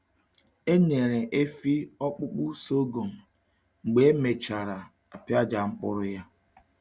Enyere efi ọkpụkpụ sọgọm mgbe e mechara apịaja mkpụrụ ya.